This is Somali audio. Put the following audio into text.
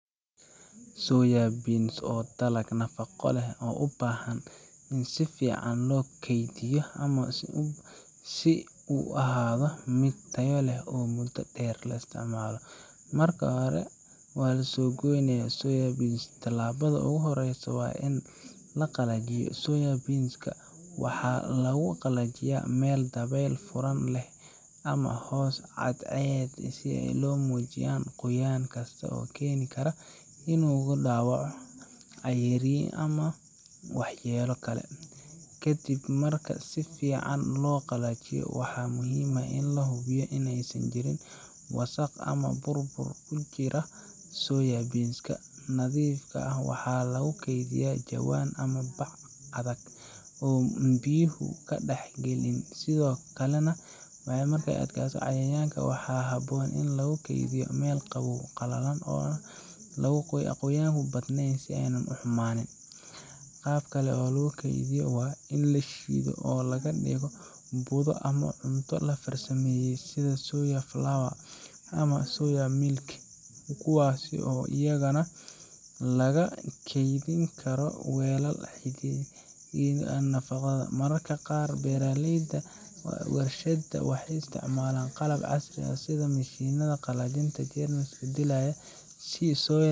Soya beans waa dalag nafaqo leh oo u baahan hab fiican oo kaydinta si uu u sii ahaado mid tayo leh muddo dheer. Marka la soo gooyo Soya beans, tallaabada ugu horreysa waa in la qalajiyo. Soya beans-ka waxaa lagu qalajiyaa meel dabeyl furan leh ama hoos cadceed si ay u lumiyaan qoyaan kasta oo keeni kara inuu ku dhaco caariyin ama waxyeelo kale. Kadib marka si fiican loo qalajiyo, waxaa muhiim ah in la hubiyo in aysan jirin wasaq ama bur-bur ku jira. Soya beans-ka nadiifka ah waxaa lagu kaydiyaa jawaan ama bac adag oo aan biyuhu ka dhex galin, sidoo kalena ay u adkaysato cayayaanka. Waxaa habboon in lagu kaydiyo meel qabow, qalalan, oo aan qoyaanku badnayn si aanay u xumaynin. Qaab kale oo loo kaydiyo waa in la shiido oo laga dhigo budo ama cunto la farsameeyey sida soya flour ama soya milk, kuwaas oo iyagana lagu kaydin karo weelal xidhan oo nadaafad leh. Mararka qaar, beeraleyda ama warshadaha waxay isticmaalaan qalab casri ah sida mashiinnada qalajinta iyo jeermis dilayaasha si Soya